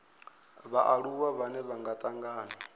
vhaaluwa vhane vha nga tangana